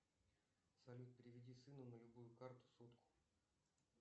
салют переведи сыну на любую карту сотку